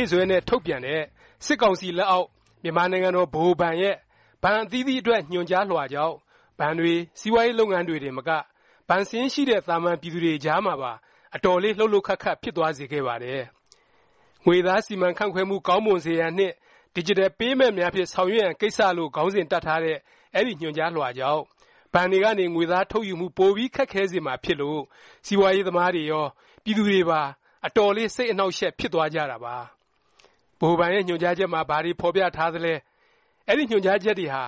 ေ့စွဲနဲ့ ထုတ်ပြန်တဲ့ စစ်ကောင်စီလက်အောက် မြန်မာနိုင်ငံတော် ဗဟိုဘဏ်ရဲ့ ဘဏ်အသီးသီးအတွက် ညွှန်ကြားလွှာကြောင့် ဘဏ်တွေ၊ စီးပွားရေး လုပ်ငန်းတွေတင်မက ဘဏ်စာရင်းရှိတဲ့ သာမန်ပြည်သူတွေအကြားမှာပါ အတော်လေး လှုပ်လှုပ်ခတ်ခတ် ဖြစ်သွားစေခဲ့ပါတယ်။ “ ငွေသားစီမံခန့်ခွဲမှု ကောင်းမွန်စေရန်နှင့် Digital Payment များဖြင့် ဆောင်ရွက်ရန် ကိစ္စ” လို့ ခေါင်းစဉ်တပ်ထားတဲ့ အဲဒီ ညွှန်ကြားလွှာကြောင့် ဘဏ်တွေကနေ ငွေသား ထုတ်ယူမှု ပိုပြီး ခက်ခဲစေမှာ ဖြစ်လို့ စီးပွားရေး သမားတွေရော၊ ပြည်သူတွေပါ အတော်လေး စိတ်အနှောင့်အယှက် ဖြစ်သွားကြတာပါ။ ဗဟိုဘဏ်ရဲ့ ညွှန်ကြားချက်မှာ ဘာတွေ ဖော်ပြထားသလဲ၊ အဲဒီ ညွှန်ကြားချက်တွေဟာ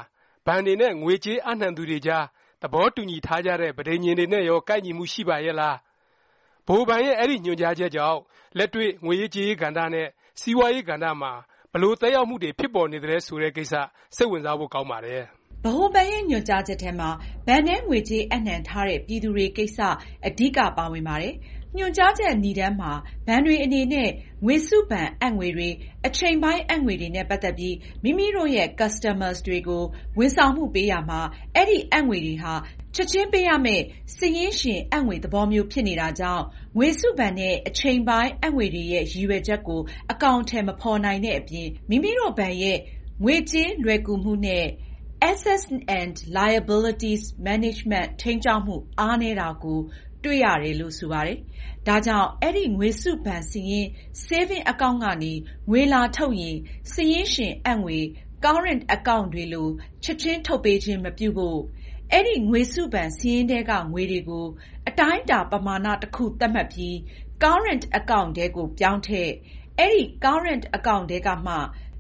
ဘဏ်တွေနဲ့ ငွေကြေးအပ်နှံသူတွေကြား သဘောတူညီထားကြတဲ့ ပဋိဉာဉ်တွေနဲ့ရော ကိုက်ညီမှု ရှိပါရဲ့လား၊ ဗဟိုဘဏ်ရဲ့ အဲဒီညွှန်ကြားချက်ကြောင့် လက်တွေ့ ငွေရေးကြေးရေးကဏ္ဍနဲ့ စီးပွားရေး ကဏ္ဍမှာ ဘယ်လို သက်ရောက်မှုတွေ ဖြစ်ပေါ်နေသလဲ ဆိုတဲ့ ကိစ္စ စိတ်ဝင်စားဖို့ ကောင်းပါတယ်။ ဗဟိုဘဏ်ရဲ့ ညွှန်ကြားချက်ထဲမှာ ဘဏ်ထဲ ငွေကြေးအပ်နှံထားတဲ့ ပြည်သူတွေကိစ္စ အဓိက ပါဝင်ပါတယ်။ ညွှန်ကြားချက် နိဒါန်းမှာ ဘဏ်တွေအနေနဲ့ ငွေစုဘဏ် အပ်ငွေတွေ၊ အချိန်ပိုင်း အပ်ငွေတွေနဲ့ ပတ်သက်ပြီး မိမိတို့ရဲ့ Customers တွေကို ဝန်ဆောင်မှုပေးရာမှာ အဲဒီအပ်ငွေတွေဟာ ချက်ခြင်းပေးရမယ့် စာရင်းရှင် အပ်ငွေသဘောမျိုး ဖြစ်နေတာကြောင့် ငွေစုဘဏ်နဲ့ အချိန်ပိုင်း အပ်ငွေတွေရဲ့ ရည်ရွယ်ချက်ကို အကောင်အထည် မဖော်နိုင်တဲ့အပြင် မိမိတို့ဘဏ်ရဲ့ ငွေကြေးလွယ်ကူမှုနဲ့ Assets and Liabilities Management ထိန်းကျောင်းမှု အားနည်းတာကို တွေ့ရတယ်လို့ ဆိုပါတယ်။ ဒါကြောင့် အဲဒီ ငွေစုဘဏ်စာရင်း Saving account ကနေ ငွေလာထုတ်ရင် စာရင်းရှင် အပ်ငွေ Current account တွေလို ချက်ခြင်း ထုတ်ပေးခြင်း မပြုဖို့၊ အဲဒီ ငွေစုဘဏ် စာရင်းထဲကငွေတွေကို အတိုင်းအတာ ပမာဏ တစ်ခု သတ်မှတ်ပြီး Current account ထဲကို ပြောင်းထည့်၊ အဲဒီ Current account ထဲကမှ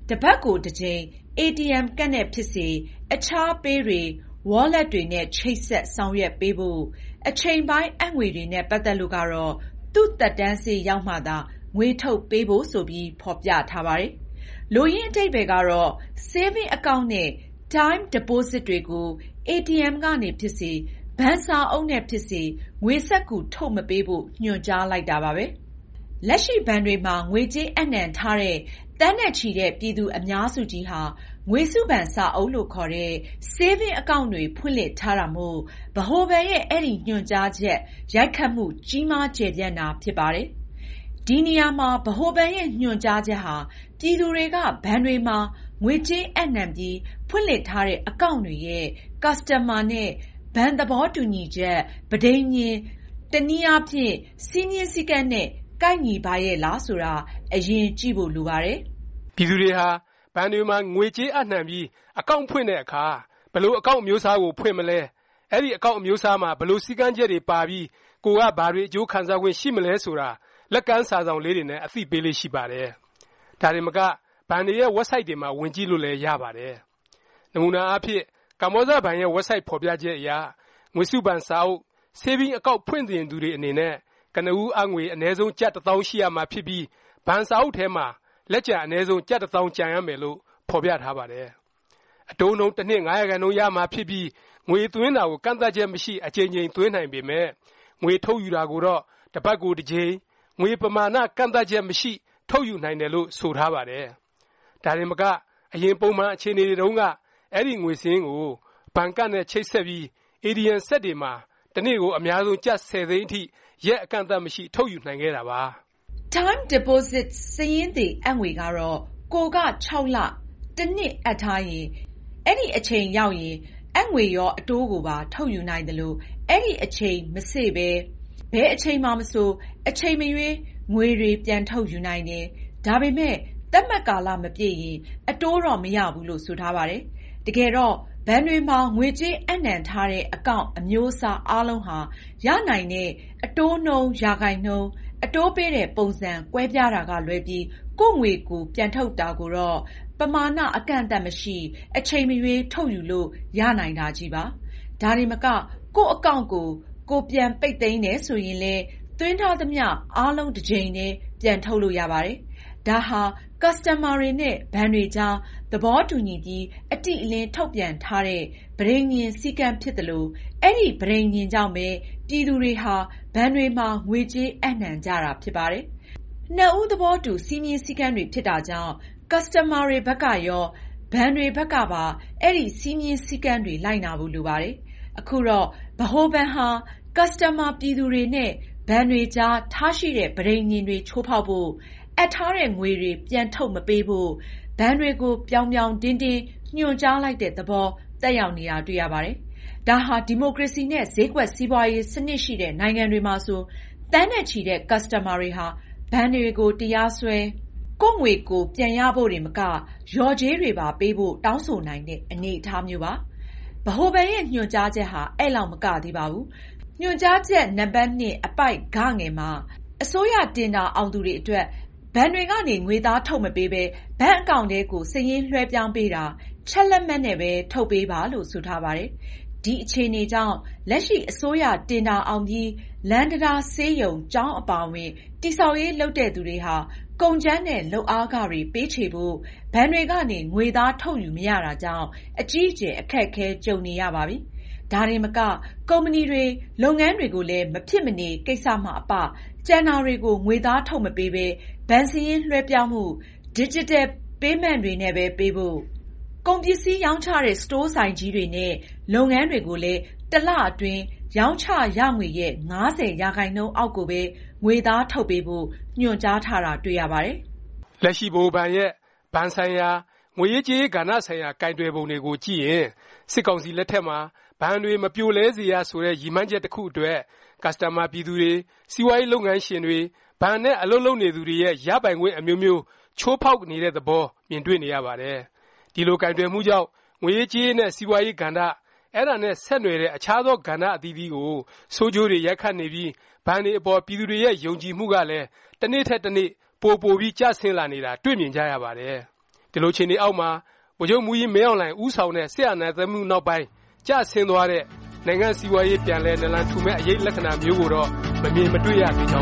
တစ်ပတ်ကို တစ်ကြိမ် ATM ကဒ်နဲ့ ဖြစ်စေ၊ အခြား Pay တွေ၊ Wallet တွေနဲ့ ချိတ်ဆက် ဆောင်ရွက်ပေးဖို့၊ အချိန်ပိုင်း အပ်ငွေတွေနဲ့ ပတ်သက်လို့ကတော့ သူ့ သက်တမ်း စေ့ရောက်မှသာ ငွေထုတ်ပေးဖို့ ဆိုပြီး ဖော်ပြထား ပါတယ်။ လိုရင်း အဓိပ္ပါယ်ကတော့ Saving account နဲ့ Time Deposits တွေကို အေတီအမ်ကနေ ဖြစ်စေ၊ ဘဏ်စာအုပ်နဲ့ဖြစ်စေ ငွေစက္ကူ ထုတ်မပေးဖို့ ညွှန်ကြားလိုက်တာပါပဲ။ လက်ရှိ ဘဏ်တွေမှာ ငွေကြေးအပ်နှံထားတဲ့ သန်းနဲ့ချီတဲ့ ပြည်သူအများစုကြီးဟာ ငွေစုဘဏ်စာအုပ်လို့ ခေါ်တဲ့ Saving account တွေဖွင့်လှစ်ထားတာမို့ ဗဟိုဘဏ်ရဲ့ အဲဒီ ညွှန်ကြားချက် ရိုက်ခတ်မှု ကြီးမား ကျယ်ပြန့်တာ ဖြစ်ပါတယ်။ ဒီနေရာမှာ ဗဟိုဘဏ်ရဲ့ ညွှန်ကြားချက်ဟာ ပြည်သူတွေက ဘဏ်တွေမှာ ငွေကြေးအပ်နှံပြီး ဖွင့်လှစ်ထားတဲ့ account တွေရဲ့ ကာစတန်မာနဲ့ ဘဏ် သဘောတူညီချက် ပဋိဉာဉ် တနည်း စည်းမျဉ်းစည်းကမ်းနဲ့ ကိုက်ညီပါရဲ့လား ဆိုတာ အရင်ကြည့်ဖို့ လိုပါတယ်။ ပြည်သူတွေဟာ ဘဏ်တွေမှာ ငွေကြေးအပ်နှံပြီး account ဖွင့်တဲ့အခါ ဘယ်လို account အမျိုးအစားကို ဖွင့်မလဲ၊ အဲဒီ account အမျိုးအစားမှာ ဘယ်လို စည်းကမ်းချက်တွေပါပြီး ကိုယ်က ဘာတွေ အကျိုးခံစားခွင့်ရှိမလဲ ဆိုတာ လက်ကမ်းစာစောင်လေးတွေနဲ့ အသိပေးလေ့ရှိပါတယ်။ ဒါတင်မက ဘဏ်တွေရဲ့ ဝက်ဘ်ဆိုက်တွေထဲမှာလည်း ဝင်ကြည့်လို့ရပါတယ်။ နမူနာအားဖြင့် ကမ္ဘောဇဘဏ်ရဲ့ ဝက်ဘ်ဆိုက် ဖော်ပြချက်အရ ငွေစုဘဏ်စာအုပ် Saving account ဖွင့်ချင်သူတွေ အနေနဲ့ ကနဦးအပ်ငွေ အနည်းဆုံး ကျပ် ၁၀၀၀၀ ရှိရမှာဖြစ်ပြီး ဘဏ်စာအုပ်ထဲမှာ လက်ကျန် အနည်းဆုံး ကျပ် ၁၀၀၀၀ ကျန်ရမယ်လို့ ဖော်ပြထားပါတယ်။ အတိုးနှုန်း တစ်နှစ် ၅% ရမှာဖြစ်ပြီး ငွေသွင်းတာကို ကန့်သတ်ချက်မရှိ အကြိမ်ကြိမ် သွင်းနိုင်ပေမယ့် ငွေထုတ်ယူတာကိုတော့ တပတ်ကို တစ်ကြိမ် “ငွေပမာဏ ကန့်သတ်ချက်မရှိ” ထုတ်ယူနိုင်တယ်လို့ ဆိုထားပါတယ်။ ဒါတင်မက အရင် ပုံမှန် အခြေအနေတုန်းက အဲဒီ ငွေစာရင်းကို ဘဏ်ကဒ်နဲ့ ချိတ်ဆက်ပြီး ATM စက်တွေမှာ တစ်နေ့ကို အများဆုံး ကျပ် ၁၀ သိန်းအထိ ရက်အကန့်အသတ်မရှိ ထုတ်ယူနိုင်ခဲ့တာပါ။ Time Deposits စာရင်းသေ အပ်ငွေ ကတော့ ကိုယ်က ၆ လ တစ်နှစ် အပ်ထားရင် အဲဒီအချိန် စေ့ရောက်ရင် အပ်ငွေရော အတိုးကိုပါ ထုတ်ယူနိုင်သလို၊ အဲဒီအချိန် မစေ့ရောက်ပဲ ဘယ်အချိန်မှာမဆို အချိန်မရွေး ငွေတွေ ပြန် ထုတ်ယူနိုင်တယ်၊ ဒါပေမယ့် သတ်မှတ်ကာလ မပြည့်ရင် အတိုးတော့ မရဘူးလို့ ဆိုထားပါတယ်။ တကယ်တော့ ဘဏ်တွေမှာ ငွေကြေး အပ်နှံထားတဲ့ အကောင့်န် အမျိုးအစား အားလုံးဟာ ရနိုင်တဲ့ အတိုးနှုန်း ရာခိုင်နှုန်း၊ အတိုးပေးတဲ့ပုံစံ ကွဲပြားတာကလွဲပြီး ကိုယ့်ငွေကိုယ် ပြန်ထုတ်တာကိုတော့ ပမာဏ အကန့်အသတ်မရှိ အချိန်မရွေး ထုတ်ယူလို့ ရနိုင်တာချည်းပါ။ ဒါတင်မက ကိုယ့်အကောင့်န်ကို ကိုယ် ပြန်ပိတ်သိမ်းတယ်ဆိုရင်လည်း သွင်းထားသမျှ အားလုံး တစ်ကြိမ်တည်း ပြန်ထုတ်လို့ ရပါတယ်။ ဒါဟာ ကာစတန်မာတွေနဲ့ ဘဏ်တွေကြား သဘောတူညီပြီး၊ အတိအလင်း ထုတ်ပြန်ထားတဲ့ ပဋိဉာဉ် စည်းကမ်းဖြစ်သလို အဲဒီ ပဋိဉာဉ်ကြောင့်ပဲ ပြည်သူတွေဟာ ဘဏ်တွေမှာ ငွေကြေး အပ်နှံကြတာ ဖြစ်ပါတယ်။ နှစ်ဦး သဘောတူ စည်းမျဉ်းစည်းကမ်းတွေ ဖြစ်တာကြောင့် ကာစတန်မာတွေ ဘက်ကရော၊ ဘဏ်တွေဘက်ကပါ အဲဒီ စည်းမျဉ်းစည်းကမ်းတွေ လိုက်နာဖို့ လိုပါတယ်။ အခုတော့ ဗဟိုဘဏ်ဟာ ကာစတန်မာ ပြည်သူတွေနဲ့ ဘဏ်တွေအကြား ထားရှိတဲ့ ပဋိဉာဉ်တွေချိုးဖေါက်ဖို့၊ အပ်ထားတဲ့ငွေတွေ ပြန်ထုတ်မပေးဖို့ ဘဏ်တွေကို ပြောင်ပြောင်တင်းတင်း ညွှန်ကြားလိုက်တဲ့ သဘော သက်ရောက်နေတာ တွေ့ရပါတယ်။ ဒါဟာ ဒီမိုကရေစီနဲ့ ဈေးကွက်စီးပွားရေး စနစ်ရှိတဲ့ နိုင်ငံတွေမှာဆို သန်းနဲ့ချီတဲ့ ကာစတန်မာတွေဟာ ဘဏ်တွေကို တရားစွဲ၊ ကိုယ့်ငွေကိုယ် ပြန်ရဖို့တင်မက လျော်ကြေးတွေပါ ပေးဖို့ တောင်းဆိုနိုင်တဲ့ အနေအထားမျိုးပါ။ ဗဟိုဘဏ်ရဲ့ ညွှန်ကြားချက်ဟာ အဲလောက် မကသေးပါဘူး။ ညွှန်ကြားချက် နံပတ်၂ အပိုဒ် မှာ အစိုးရတင်ဒါအောင်သူတွေ အတွက် ဘဏ်တွေကနေ ငွေသား ထုတ်မပေးပဲ ဘဏ်အကောင့်န်ထဲကို စာရင်းလွဲှပြောင်းပေးတာ၊ ချက်လက်မှတ်နဲ့ပဲ ထုတ်ပေးပါလို့ ဆိုထားပါတယ်။ ဒီအခြေအနေကြောင့် လက်ရှိ အစိုးရတင်ဒါအောင်ပြီး လမ်းတံတား၊ ဆေးရုံ၊ ကျောင်း အပါအဝင် တည်ဆောက်ရေး လုပ်တဲ့သူတွေဟာ ကုန်ကြမ်းနဲ့ လုပ်အားခတွေ ပေးချေဖို့ ဘဏ်တွေကနေ ငွေသား ထုတ်ယူမရတာကြောင့် အကြီးအကျယ် အခက်အခဲ ကြုံနေရပါပြီ။ ဒါတင်မက ကုမ္ပဏီတွေ လုပ်ငန်းတွေကိုလည်း မဖြစ်မနေ ကိစ္စမှ အပ ကျန်တာတွေကို ငွေသားထုတ်မပေးပဲ ဘဏ်စာရင်းလွဲှပြောင်းမှု၊ ဒီဂျစ်တယ်ပေးမင့်တွေနဲ့ပဲ ပေးဖို့၊ ကုန်ပစ္စည်းရောင်းချတဲ့ စတိုးဆိုင်ကြီးတွေနဲ့ လုပ်ငန်းတွေကိုလည်း တလအတွင်း ရောင်းချရငွေရဲ့ ၅၀% အောက်ကိုပဲ ငွေသားထုတ်ပေးဖို့ ညွှန်ကြားထားတာ တွေ့ရပါတယ်။ လက်ရှိ ဗဟိုဘဏ်ရဲ့ ဘဏ်ဆိုင်ရာ၊ ငွေရေးကြေးရေး ကဏ္ဍဆိုင်ရာ ကိုင်တွယ်ပုံတွေကို ကြည့်ရင် စစ်ကောင်စီ လက်ထက်မှာ ဘဏ်တွေ မပြိုလဲစေရ ဆိုတဲ့ ရည်မှန်းချက် တစ်ခုအတွက် ကာစတန်မာ ပြည်သူတွေ၊ စီးပွားရေး လုပ်ငန်းရှင်တွေ၊ ဘဏ်နဲ့ အလုပ်လုပ်နေသူတွေရဲ့ ရပိုင်ခွင့် အမျိုးမျိုး ချိုးဖေါက်နေတဲ့သဘော မြင်တွေ့နေရပါတယ်။ ဒီလို ကိုင်တွယ်မှုကြောင့် ငွေရေးကြေးရေး နဲ့ စီးပွားရေး ကဏ္ဍ၊ အဲဒါနဲ့ ဆက်နွှယ်တဲ့ အခြားသော ကဏ္ဍအသီးသီးကို ဆိုးကျိုးတွေ ရိုက်ခတ်နေပြီး ဘဏ်တွေအပေါ် ပြည်သူတွေရဲ့ ယုံကြည်မှုကလည်း တစ်နေ့ထက်တစ်နေ့ ပိုပိုပြီး ကျဆင်းလာနေတာ တွေ့မြင်ကြရပါတယ်။ ဒီလို အခြေအနေအောက်မှာ ဗိုလ်ချုပ်မှူးကြီး မင်းအောင်လှိုင် ဦးဆောင်တဲ့ စစ်အာဏာသိမ်းမှု နောက်ပိုင်း ကျဆင်းသွားတဲ့ နိုင်ငံ့စီးပွားရေး ပြန်လည် နာလံထူမယ့် အရိပ်လက္ခဏာ မျိုးကိုတော့ မမြင်မတွေ့ရသေးကြ